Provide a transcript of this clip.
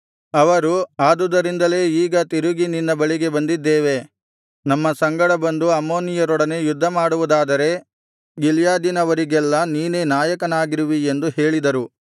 ಅವರು ಆದುದರಿಂದಲೇ ಈಗ ತಿರುಗಿ ನಿನ್ನ ಬಳಿಗೆ ಬಂದಿದ್ದೇವೆ ನಮ್ಮ ಸಂಗಡ ಬಂದು ಅಮ್ಮೋನಿಯರೊಡನೆ ಯುದ್ಧಮಾಡುವುದಾದರೆ ಗಿಲ್ಯಾದಿನವರಿಗೆಲ್ಲಾ ನೀನೇ ನಾಯಕನಾಗಿರುವಿ ಎಂದು ಹೇಳಿದರು